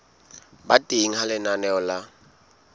ba teng ha lenaneo la